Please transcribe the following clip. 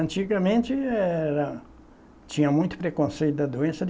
Antigamente, era tinha muito preconceito da doença.